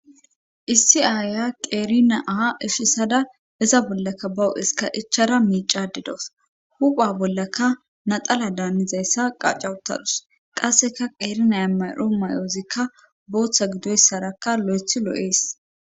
Issi aaya qeerina aa efisada iza bollaka bawo7eska ichara miicadidos hupha bollaka naxala daanizayssa qacawutadus qasseka qeerinaya maro mayoozikka booththa gidoyssarakka lo7ethi lo7ees